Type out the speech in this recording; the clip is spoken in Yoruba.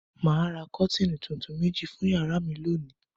Mà á ra kọ́tíínì tuntun méjì fún ìyàrá mi lónìí.